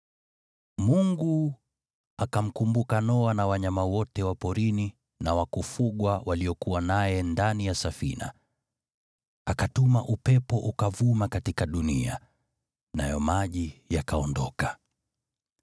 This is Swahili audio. Mungu akamkumbuka Noa na wanyama wote wa porini na wa kufugwa waliokuwa naye ndani ya safina, akatuma upepo ukavuma katika dunia, nayo maji yakaondoka.